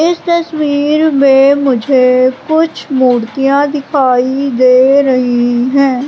इस तस्वीर मे मुझे कुछ मूर्तियां दिखाई दे रही है।